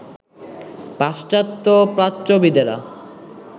পাশ্চাত্য প্রাচ্যবিদেরা